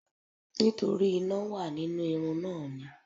Nítorí iná wà nínú irun náà ni.